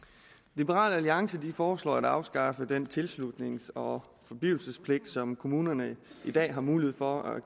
liberal alliance foreslår at afskaffe den tilslutnings og forblivelsespligt som kommunerne i dag har mulighed for at